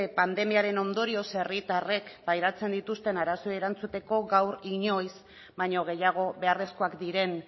pandemiaren ondorioz herritarrek pairatzen dituzten arazoei erantzuteko gaur inoiz baino gehiago beharrezkoak diren